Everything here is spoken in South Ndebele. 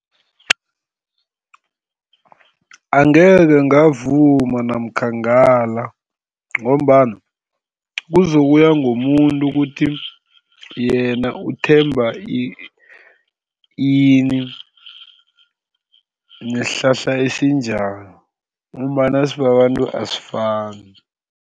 Angekhe ngavuma namkha ngale ngombana kuzokuya ngomuntu ukuthi yena uthemba ini, nesihlahla esinjani ngombana sibabantu asifani.